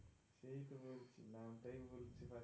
নামটাই